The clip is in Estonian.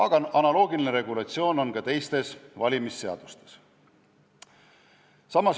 Ja analoogiline regulatsioon on ka teistes valimisseadustes.